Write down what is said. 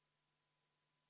Oleme eelnõu 607 juures.